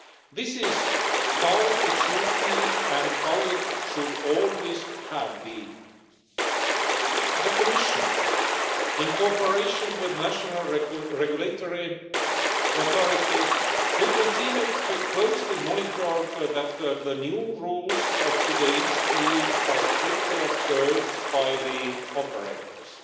This is how it should be and how it should always have been. The Commission, in cooperation with national regulatory authorities, will continue its close monitoring to ensure that the new rules of today's deal are strictly observed by the operators.